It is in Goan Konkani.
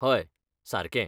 हय, सारकें.